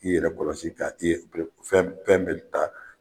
K'i yɛrɛ kɔlɔsi ka fɛn fɛn bɛ ta